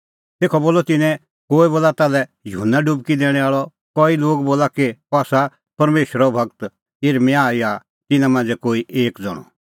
तेखअ बोलअ तिन्नैं कोई बोला ताल्है युहन्ना डुबकी दैणैं आल़अ कई लोग बोला एलियाह कई लोग बोला कि अह आसा परमेशरो गूर यिर्मयाह या तिन्नां मांझ़ै कोई एक ज़ण्हअ